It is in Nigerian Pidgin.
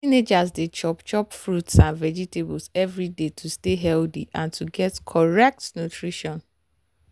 teenagers dey chop chop fruits and vegetables every day to stay healthy and to get correct nutrition.